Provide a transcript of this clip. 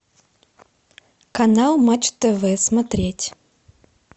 канал матч тв смотреть